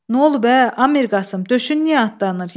Nə olub ə, ay Mirqasım, döşün niyə atlanır?